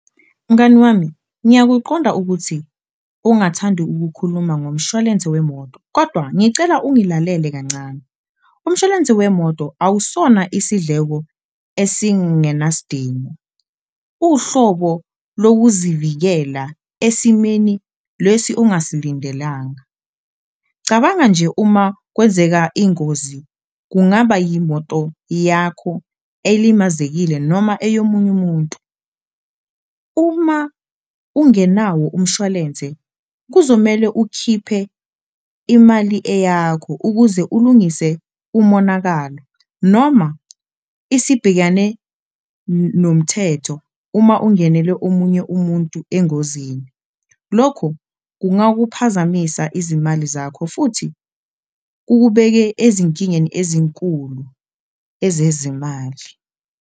Mngani wami ngiyakuqonda ukuthi ungathandi ukukhuluma ngomshwalense wemoto kodwa ngicela ungilalele kancane, umshwalense wemoto awusona isidleko esingenasidingo, uhlobo lokuzivikela esimeni lesi ongasilindelanga. Cabanga nje uma kwenzeka ingozi kungaba yimoto yakho elimazekile noma eyomunye umuntu, uma ungenawo umshwalense kuzomele ukhiphe imali eyakho ukuze ulungise umonakalo noma isibhekane nomthetho uma ungenele omunye umuntu engozini. Lokhu kungakuphazamisa izimali zakho futhi kukubeke ezinkingeni ezinkulu ezezimali.